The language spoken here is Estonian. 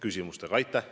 Aitäh!